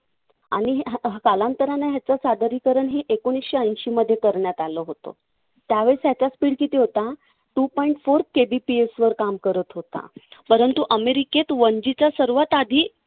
आणि कालांतराने याचं सादरीकरण हे एकोणीसशे ऐंशीमध्ये करण्यात आलं होतं. त्यावेळेस त्याचा speed किती होता? two point four KBPS वर काम करत होता. परंतु अमेरिकेत one G च्या सर्वात आधी